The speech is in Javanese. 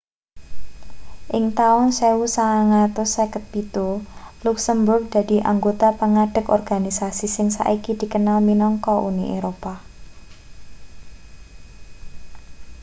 ing taun 1957 luksemburg dadi anggota pangadeg organisasi sing saiki dikenal minangka uni eropa